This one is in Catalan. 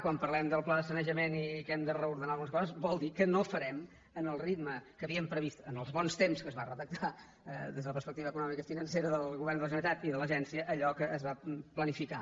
quan parlem del pla de sanejament i que hem de reordenar algunes coses vol dir que no ho farem amb el ritme que havíem previst en els bons temps que es va redactar des de la perspectiva econòmica i financera del govern de la generalitat i de l’agència allò que es va planificar